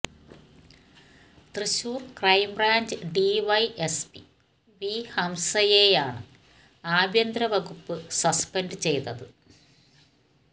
Thrissur crime branch DYSP V ഹംസയെയാണ് ആഭ്യന്തര വകുപ്പ് സസ്പെന്ഡ് ചെയ്തത്